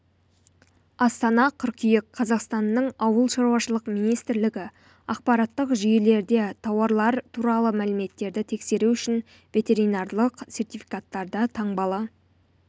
астана қыркүйек қазақтанның ауыл шаруашылық министрлігі ақпараттық жүйелерде тауарлар туралы мәліметтерді тексеру үшін ветеринарлық сертификаттарда таңбалы